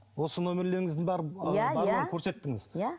осы нөмірлеріңіздің бәрі иә көрсеттіңіз иә